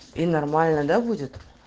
и нормально да будет